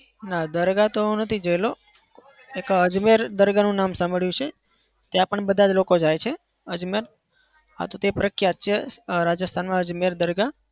ના દરગાહ તો હું નથી જેલો. એક અજમેર દરગાહનું નામ સાંભળ્યું છે. ત્યાં પણ બધા જ લોકો જાય છે અજમેર. હા તો તે પ્રખ્યાત છે રાજસ્થાનમાં અજમેર દરગાહ.